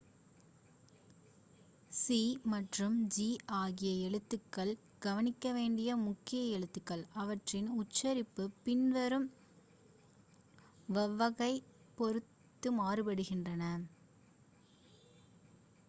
c மற்றும் g ஆகிய எழுத்துக்கள் கவனிக்க வேண்டிய முக்கிய எழுத்துக்கள் அவற்றின் உச்சரிப்பு பின்வரும் வவ்வலைப் பொறுத்து மாறுபடுகின்றன